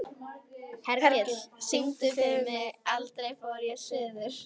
Hergill, syngdu fyrir mig „Aldrei fór ég suður“.